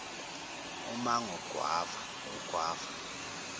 umango ugw ava